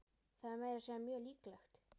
Það er meira að segja mjög líklegt.